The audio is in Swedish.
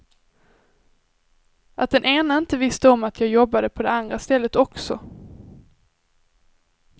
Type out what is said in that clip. Att den ena inte visste om att jag jobbade på det andra stället också.